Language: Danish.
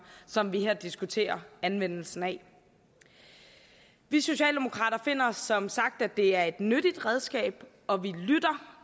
som vi her diskuterer anvendelsen af vi socialdemokrater finder som sagt at det er et nyttigt redskab og vi lytter